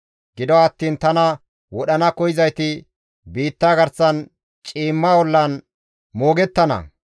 Gido attiin tana wodhana koyzayti biitta garsan ciimma ollan moogettana.